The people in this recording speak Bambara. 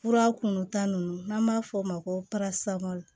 Fura kunnu ta nunnu n'an b'a f'o ma ko